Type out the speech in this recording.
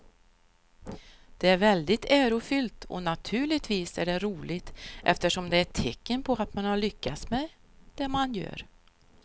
Det är väldigt ärofyllt och naturligtvis är det roligt eftersom det är ett tecken på att man har lyckats med det man gör.